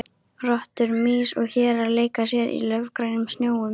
Rottur, mýs og hérar leika sér í laufgrænum snjónum.